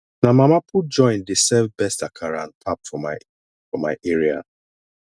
na mama put joint dey serve best akara and pap for my for my area